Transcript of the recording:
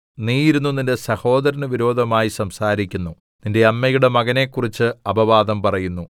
നീ ഇരുന്ന് നിന്റെ സഹോദരന് വിരോധമായി സംസാരിക്കുന്നു നിന്റെ അമ്മയുടെ മകനെക്കുറിച്ച് അപവാദം പറയുന്നു